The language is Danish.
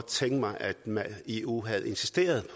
tænkt mig at man i eu havde insisteret